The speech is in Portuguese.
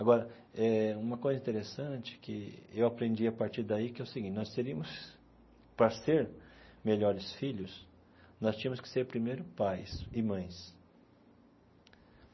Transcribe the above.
Agora eh, uma coisa interessante que eu aprendi a partir daí, que é o seguinte, nós teríamos, para ser melhores filhos, nós tínhamos que ser primeiro pais e mães.